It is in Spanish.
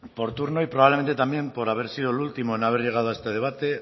por turno y probablemente también por haber sido el último en haber llegado a este debate